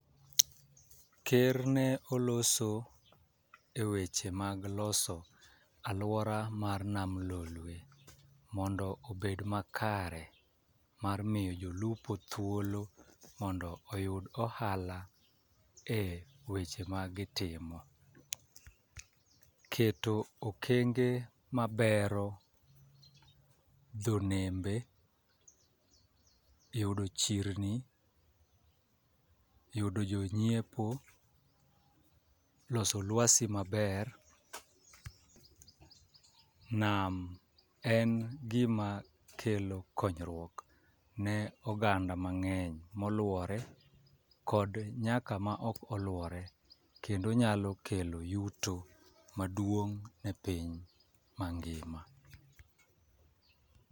Ker ne oloso eweche mag loso aluora mar nam lolwe mondo obed makare mar miyo jolupo thuolo mondo oyud ohala e weche magitimo. Keto okenge mabero dho nembe yudo chirni ,yudo jonyiepo ,loso lwasi maler, nam en gima kelo konyruok ne oganda mang'eny moluore kod nyaka ma ok oluore kendo nyalo kelo yuto maduong' e piny mangima.